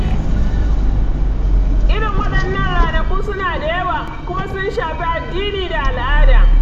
Irin waɗannan ranaku suna da yawa, kuma sun shafi addini da al'ada.